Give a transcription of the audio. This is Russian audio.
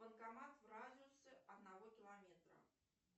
банкомат в радиусе одного километра